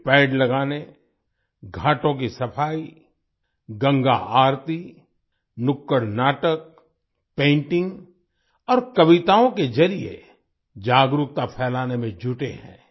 वे पेड़ लगाने घाटों की सफाई गंगा आरती नुक्कड़ नाटक पेंटिंग और कविताओं के जरिए जागरूकता फैलाने में जुटे हैं